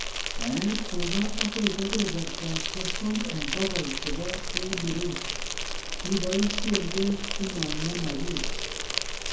Bae tuga agoi kebebertab sosom eng bokol chebo daily ration, ibisee beek simang'emagis